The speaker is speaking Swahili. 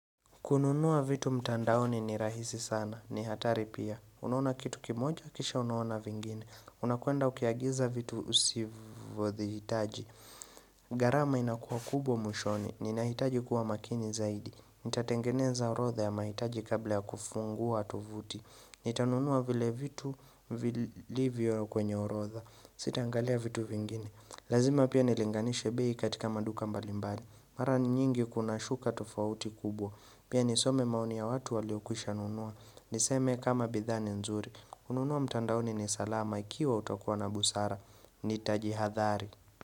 Kununua vitu mtandaoni ni rahisi sana. Ni hatari pia. Unaona kitu kimoja, kisha unaona vingine. Unakuenda ukiagiza vitu usivothi hitaji. Garama inakua kubwa mwishoni. Ninahitaji kuwa makini zaidi. Nitatengeneza orodha ya maitaji kabla ya kufungua tuvuti Nitanunua vile vitu vilivio kwenye orodha Sitangalia vitu vingine Lazima pia nilinganishe bei katika maduka mbalimbali Mara nyingi kuna shuka tofauti kubwa Pia nisome maoni ya watu waliokwisha nunua Niseme kama bidha ni nzuri kununua mtandaoni ni salama ikiwa utokuwa na busara Nitajihadhari.